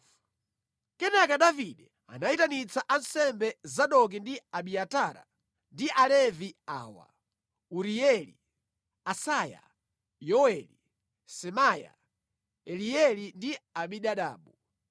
Kenaka Davide anayitanitsa ansembe Zadoki ndi Abiatara, ndi Alevi awa, Urieli, Asaya, Yoweli, Semaya, Elieli ndi Aminadabu.